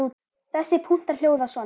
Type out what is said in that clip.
Þessir punktar hljóða svona